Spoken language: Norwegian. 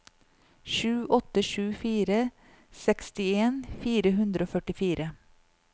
sju åtte sju fire sekstien fire hundre og førtifire